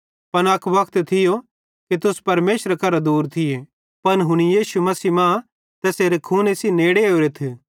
पन अक वक्त थियो कि तुस परमेशरे करां दूर थिये पन हुनी यीशु मसीह मां तैसेरे खून सेइं नेड़े आनोरेथ